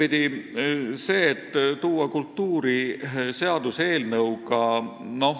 Ühtepidi see, et luua kultuuri seaduseelnõuga ...